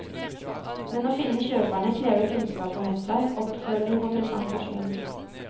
Men å finne kjøperne krever kunnskap og nettverk, oppfølging og presentasjon.